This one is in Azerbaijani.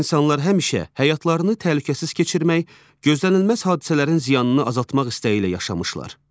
İnsanlar həmişə həyatlarını təhlükəsiz keçirmək, gözlənilməz hadisələrin ziyanını azaltmaq istəyi ilə yaşamışlar.